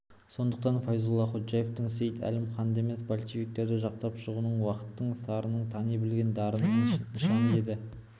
сондықтан файзолла ходжаевтың сейд-әлім ханды емес большевиктерді жақтап шығуы уақыттың сарынын тани білген дарынның нышаны еді